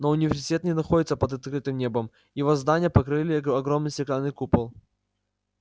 но университет не находился под открытым небом его здания покрывал огромный стеклянный купол